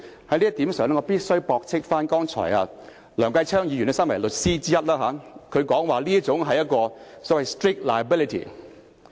就這一點，我必須駁斥梁繼昌議員，他身為律師，剛才說這是屬於 strict liability。